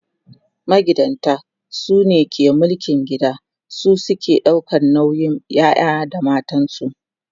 magidanta sune ke mulkin gida su suke ɗaukan nauyin ƴaƴa da matansu